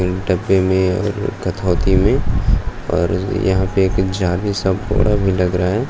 इन डब्बे मै में और यहाँ पे एक जालिसा बड़ा भी लग रहा है।